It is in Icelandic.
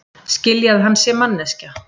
Skilji að hann sé manneskja.